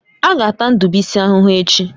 A ga-ata ndibuisi ahụhụ echi.